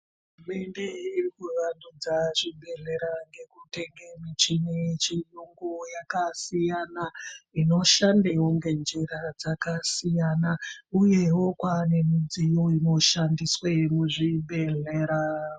Hurumende iri kuwandudza zvibhedhlera ngeku tenge michini ye chiyungu yaka siyana inoshandewo nge njira dzaka siyana uyewo Kwane midziyo ino shande mu zvibhedhlera.